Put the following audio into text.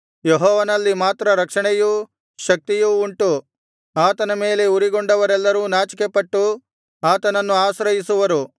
ಯೆಹೋವನಲ್ಲಿ ಮಾತ್ರ ರಕ್ಷಣೆಯೂ ಶಕ್ತಿಯೂ ಉಂಟು ಆತನ ಮೇಲೆ ಉರಿಗೊಂಡವರೆಲ್ಲರೂ ನಾಚಿಕೆಪಟ್ಟು ಆತನನ್ನು ಆಶ್ರಯಿಸುವರು